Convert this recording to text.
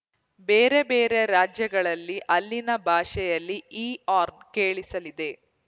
ಬೇರೆ ಬೇರೆ ರಾಜ್ಯಗಳಲ್ಲಿ ಅಲ್ಲಿನ ಭಾಷೆಯಲ್ಲೇ ಈ ಹಾರ್ನ್‌ ಕೇಳಿಸಲಿದೆ